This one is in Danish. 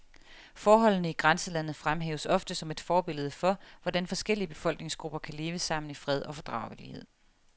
Forholdene i grænselandet fremhæves ofte som et forbillede for, hvordan forskellige befolkningsgrupper kan leve sammen i fred og fordragelighed.